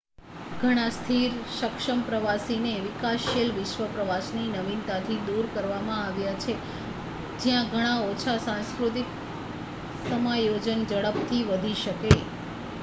ઘણા સ્થિર સક્ષમ પ્રવાસીને વિકાસશીલ વિશ્વ પ્રવાસની નવીનતાથી દૂર કરવામાં આવ્યા છે જ્યાં ઘણા ઓછા સાંસ્કૃતિક સમાયોજન ઝડપથી વધી શકે